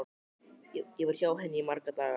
Ég var hjá henni í marga daga.